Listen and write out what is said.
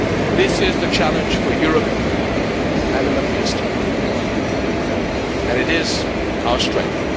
This is the challenge for Europe and the Middle East, and it is our strength.